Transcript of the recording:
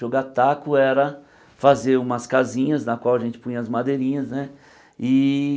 Jogar taco era fazer umas casinhas na qual a gente punha as madeirinhas, né? E